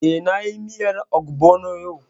Eh, na yi miyar ogbono yau